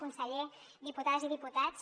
conseller diputades i diputats